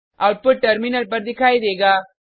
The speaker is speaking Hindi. आउटपुट टर्मिनल पर दिखाई देगा